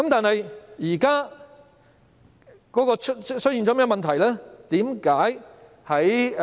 但是，現在出現了甚麼問題呢？